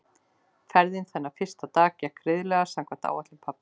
Ferðin þennan fyrsta dag gekk greiðlega og samkvæmt áætlun pabba.